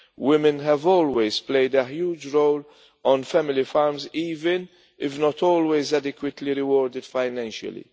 Women have always played a huge role on family farms, even if not always adequately rewarded financially.